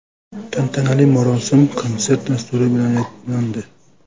Tantanali marosim konsert dasturi bilan yakunlandi.